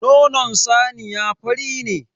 Nonon saniya fari ne.